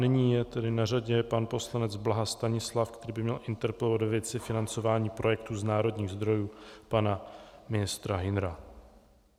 Nyní je tedy na řadě pan poslanec Blaha Stanislav, který by měl interpelovat ve věci financování projektů z národních zdrojů pana ministra Hünera.